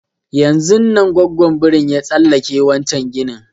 Yanzun nan gwaggon birin ya tsallake wancan ginin